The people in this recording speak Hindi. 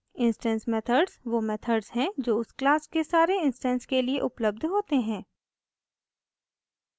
इंस्टैंस मेथड्स वो मेथड्स हैं जो उस क्लास के सारे इंस्टैंस के लिए उपलब्ध होते हैं